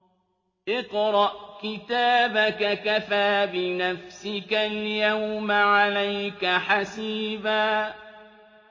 اقْرَأْ كِتَابَكَ كَفَىٰ بِنَفْسِكَ الْيَوْمَ عَلَيْكَ حَسِيبًا